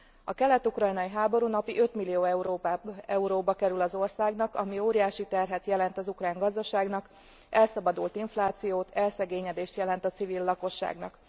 A kelet ukrajnai háború napi 5 millió euróba kerül az országnak, ami óriási terhet jelent az ukrán gazdaságnak, elszabadult inflációt, elszegényedést jelent a civil lakosságnak.